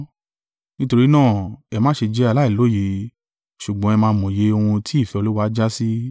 Nítorí náà, ẹ má ṣé jẹ aláìlóye, ṣùgbọ́n ẹ máa mòye ohun tí ìfẹ́ Olúwa jásí.